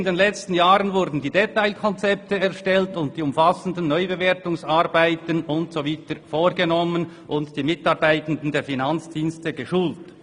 In den letzten Jahren wurden die Detailkonzepte erstellt und die umfassenden Neubewertungsarbeiten […] vorgenommen und die Mitarbeitenden der Finanzdienste geschult.»